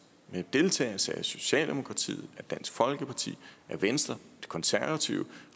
med deltagelse af socialdemokratiet dansk folkeparti venstre de konservative og